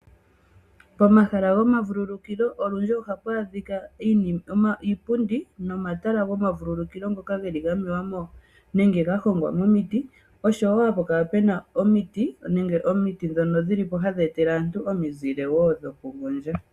Pomahala gomavululukilo olundji ohapu adhika iipundi nomatala gomavululukilo ngoka geli gamewa nenge gahongwa momiti oshowo hapu kala puna omiti ndhono hadhi etele aantu omizile wo dhokugondja.